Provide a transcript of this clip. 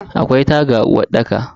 Akwai taga a uwarɗaka.